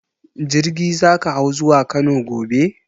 Jirgi za ka hau zuwa Kano gobe?